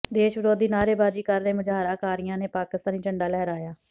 ਦੇਸ਼ ਵਿਰੋਧੀ ਨਾਅਰੇਬਾਜ਼ੀ ਕਰ ਰਹੇ ਮੁਜ਼ਾਹਰਾਕਾਰੀਆਂ ਨੇ ਪਾਕਿਸਤਾਨੀ ਝੰਡਾ ਲਹਿਰਾਇਆ